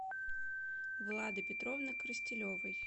влады петровны коростелевой